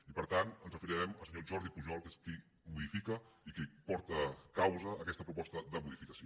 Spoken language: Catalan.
i per tant ens referirem al senyor jordi pujol que és qui modifica i qui porta causa aquesta proposta de modificació